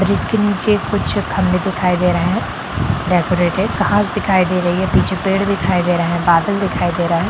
Bridge के नीचे कुछ खम्बे दिखाई दे रहे है डेकरेटेड घास दिखाई दे रही है पीछे पेड़ दिखाई दे रहे हैं बादल दिखाई दे रहा है।